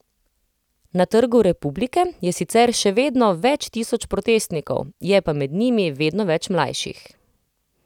Na Trgu republike je sicer še vedno več tisoč protestnikov, je pa med njimi vedno več mlajših.